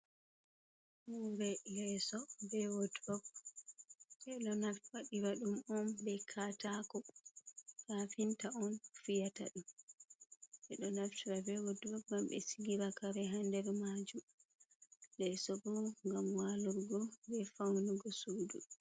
Leeso bee wodurop ɓe ɗo waɗira ɗum on bee kaataako, kafinta on fiyata ɗum ɓe ɗo naftra wodurope ngam am ɓe sigira kare haa nder maajum, leeso boo ngam waalurgo bee fawnugo suudu.